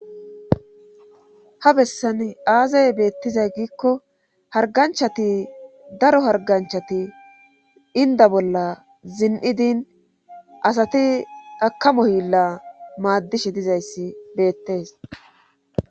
Ha bessan aazay beettizay giikko harganchati daro harganchati inda bolla zin'idin asati akamo hilla maaddishe dizayssi beettees.